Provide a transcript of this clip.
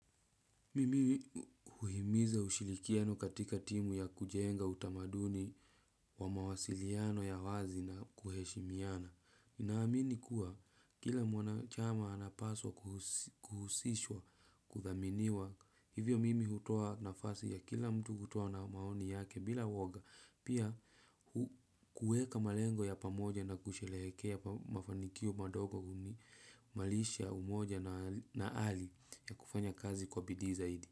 Mimi huhimiza ushirikiano katika timu ya kujenga utamaduni wa mawasiliano ya wazi na kuheshimiana. NInamini kuwa kila mwanachama anapaswa kuhusishwa kuthaminiwa hivyo mimi hutoa nafasi ya kila mtu kutoa na maoni yake bila woga. Pia kuweka malengo ya pamoja na kusherehekea mafanikio madogo huimarisha umoja na ari ya kufanya kazi kwa bidii zaidi.